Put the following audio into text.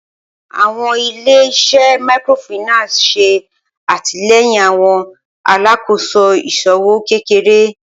Awọn ile-iṣẹ Microfinance ṣe atilẹyin awọn alakoso iṣowo kekere.